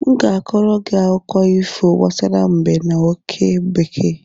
M ga-akọọrọ gị akụkọ ifo gbasara mbe na oke bekee